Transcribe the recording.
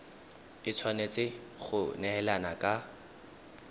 e tshwanetse go neelana ka